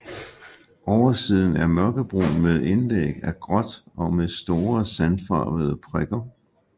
Oversiden er mørkebrun med indlæg af gråt og med store sandfarvede prikker